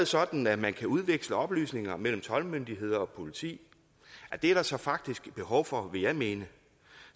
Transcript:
sådan at man kan udveksle oplysninger mellem toldmyndigheder og politi og det er der så faktisk behov for vil jeg mene